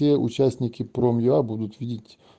все участники пром я будут видеть